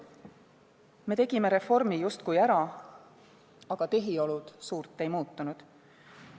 Me tegime reformi justkui ära, aga tehiolud suurt ei muutunud.